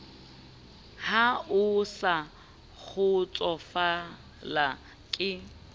ha o sa kgotsofala ke